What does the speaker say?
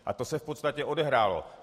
A to se v podstatě odehrálo.